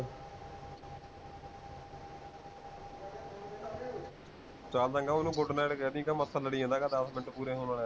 ਚਲ ਚੰਗਾ ਓਹਨੂੰ good night ਕਹਿਦੀ, ਕਹਿ ਮੱਛਰ ਲੜ੍ਹੀ ਜਾਂਦਾ, ਦਸ ਮਿੰਟ ਪੂਰੇ ਹੋਣ ਵਾਲੇ ਹੈਂ